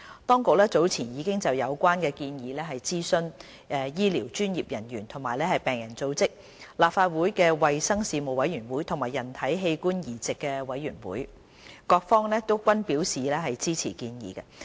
當局早前已就有關的建議諮詢醫療專業人員和病人組織、立法會衞生事務委員會和人體器官移植委員會，各方均表示支持建議。